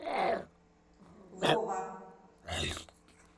вова